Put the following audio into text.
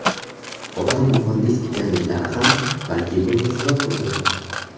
Otam muhandis ekanliklari ham balki bunga sabab bo‘lgandir.